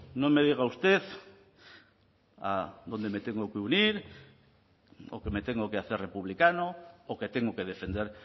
no me diga usted a dónde me tengo que unir o que me tengo que hacer republicano o que tengo que defender